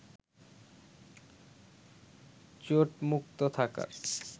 চোটমুক্ত থাকার